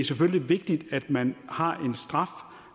selvfølgelig vigtigt at man har en straf